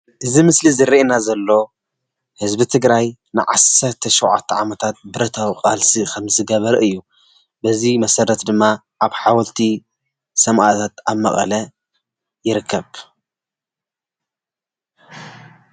እዚ ምስሊ ዝረአና ዘሎ ህዝቢ ትግራይ 17 ዓመታት ብረታዊ ቃልሲ ከምዝገበረ እዩ፣ በዚ መሰረት ድማ ኣብ ሓወልቲ ሰማእታት ኣብ መቐለ ይርከብ።